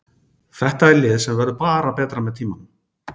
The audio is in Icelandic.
Þetta er lið sem verður bara betra með tímanum.